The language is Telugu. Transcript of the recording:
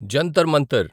జంతర్ మంతర్